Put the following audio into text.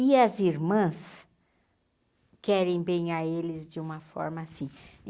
E as irmãs querem bem a eles de uma forma assim.